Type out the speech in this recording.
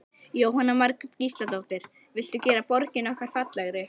Jóhanna Margrét Gísladóttir: Viltu gera borgina okkar fallegri?